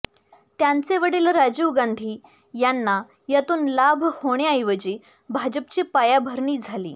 त्यांचे वडील राजीव गांधी यांना यातून लाभ होण्याऐवजी भाजपची पायाभरणी झाली